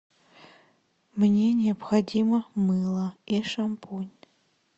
мне необходимо мыло и шампунь